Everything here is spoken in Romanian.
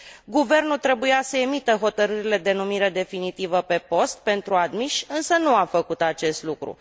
Guvernul trebuia să emită hotărârile de numire definitivă pe post pentru admiși, însă nu a făcut acest lucru.